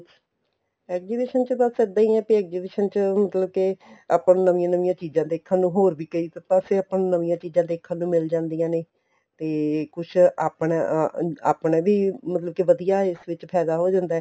exhibition ਚ ਬੱਸ ਇੱਦਾਂ ਹੀ ਆ ਕੇ exhibition ਚ ਮਤਲਬ ਕੇ ਆਪਾਂ ਨੂੰ ਨਵੀਆਂ ਨਵੀਆਂ ਚੀਜ਼ਾਂ ਦੇਖਣ ਨੂੰ ਹੋਰ ਵੀ ਕਈ ਪਾਸੇ ਆਪਾਂ ਨੂੰ ਨਵੀਆਂ ਚੀਜ਼ਾਂ ਦੇਖਣ ਨੂੰ ਮਿਲ ਜਾਂਦੀਆਂ ਨੇ ਤੇ ਕੁੱਛ ਆਪਣਾ ਅਹ ਆਪਣਾ ਵੀ ਮਤਲਬ ਕੇ ਵਧੀਆ ਫਾਇਦਾ ਹੋ ਜਾਂਦਾ ਏ